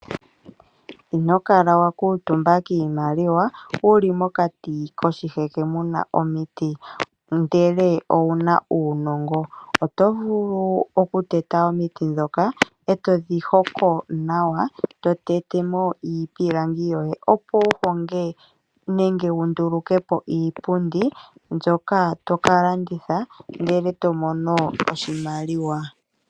Inokala wa kuutumba kiimaliwa wuli mokati koshiheke muna omiti ngele owuna uunongo. Otodhi tete e to hongo mo iipilangi wundulukepo iipundi mbyoka toka landitha ndele tomono oshimaliwa.